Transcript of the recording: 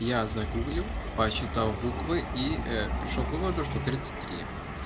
я загуглил посчитал буквы и пришёл к выводу что тридцать три